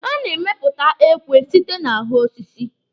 A na-emepụta ekwe site na ahụ osisi.